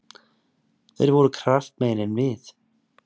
Þeir voru kraftmeiri en við.